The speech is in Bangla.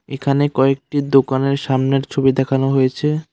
এখানে কয়েকটি দোকানের সামনের ছবি দেখানো হয়েছে।